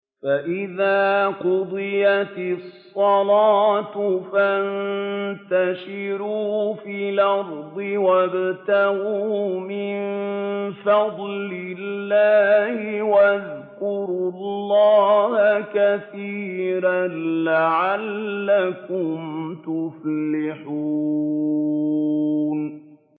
فَإِذَا قُضِيَتِ الصَّلَاةُ فَانتَشِرُوا فِي الْأَرْضِ وَابْتَغُوا مِن فَضْلِ اللَّهِ وَاذْكُرُوا اللَّهَ كَثِيرًا لَّعَلَّكُمْ تُفْلِحُونَ